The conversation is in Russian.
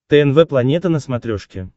тнв планета на смотрешке